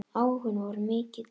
Áhuginn var mikill.